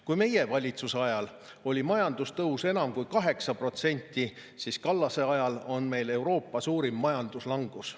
Kui meie valitsuse ajal oli majandustõus enam kui 8%, siis Kallase ajal on meil Euroopa suurim majanduslangus.